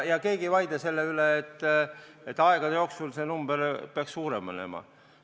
Ja keegi ei vaidle selle üle, et aegade jooksul see number peaks suurem olema.